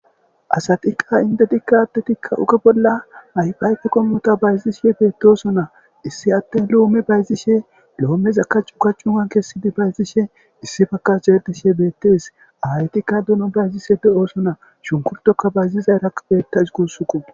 asatiqa indedikka adtetikka uke bolla mayfayke kommota bayzishe beetoso na issi atten loome bayzishe loomeza ka cu kachuan kessidi bayzishe issi fakach erdishe beettees awaytikka duno bayzishe de7oosona shunkurtoka bayzizay raq beettas gussuko.